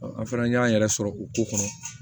an fana y'an yɛrɛ sɔrɔ o ko kɔnɔ